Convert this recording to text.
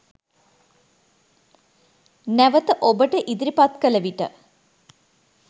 නැවත ඔබට ඉදිරිපත් කළ විට